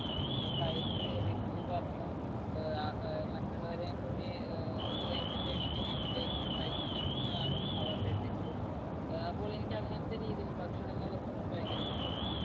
അഹ് കഴിച്ച് review പറഞ്ഞ് ആഹ് അഹ് മറ്റുള്ളവരെയും കൂടി ആഹ് ഒരു entertainment രീതിയിലേക്ക് നയിക്കുന്നതാണ് അവരുടെ ലക്ഷ്യം ആഹ് അപ്പോൾ എനിക്ക് അങ്ങനത്തെ രീതിയിൽ ഭക്ഷണങ്ങളെക്കുറിച്ച് ഭയങ്കര ഇഷ്ടമാണ്.